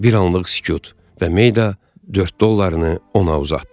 Bir anlıq sükut və Mayda dörd dollarını ona uzatdı.